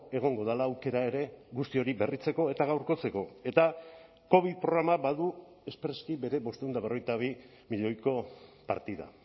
egongo dela aukera ere guzti hori berritzeko eta gaurkotzeko eta covid programa badu espreski bere bostehun eta berrogeita bi milioiko partida